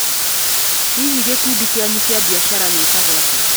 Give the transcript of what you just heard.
Hihi gĩkundi kĩanyu kĩa mbiacara gĩtagwo atĩa?